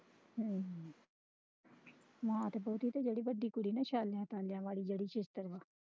ਹਮ ਮਾਨ ਤੇ ਬਹੁਤੀ ਤੇ ਤੇ ਜਿਹੜੀ ਵੱਡੀ ਕੁੜੀ ਨਾ